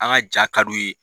An ka ja ka d'u ye.